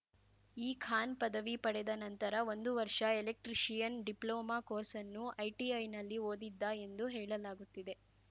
ಈ ಖಾನ್ ಪದವಿ ಪಡೆದ ನಂತರ ಒಂದು ವರ್ಷ ಎಲೆಕ್ಟ್ರಿಷಿಯನ್ ಡಿಪ್ಲೋಮಾ ಕೋರ್ಸ್‌ನ್ನು ಐಟಿಐನಲ್ಲಿ ಓದಿದ್ದ ಎಂದು ಹೇಳಲಾಗುತ್ತಿದೆ